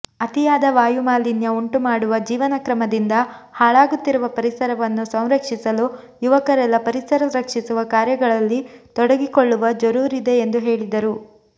ಅತಿಯಾದ ವಾಯುಮಾಲಿನ್ಯ ಉಂಟುಮಾಡುವ ಜೀವನಕ್ರಮದಿಂದ ಹಾಳಾಗುತ್ತಿರುವ ಪರಿಸರವನ್ನು ಸಂರಕ್ಷಿಸಲು ಯುವಕರೆಲ್ಲ ಪರಿಸರ ರಕ್ಷಿಸುವ ಕಾರ್ಯಗಳಲ್ಲಿ ತೊಡಗಿಕೊಳ್ಳುವ ಜರೂರಿದೆ ಎಂದು ಹೇಳಿದರು